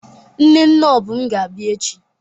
Nne nne Obum ga-abia echi.